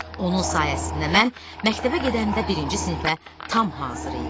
Onun sayəsində mən məktəbə gedəndə birinci sinifə tam hazır idim.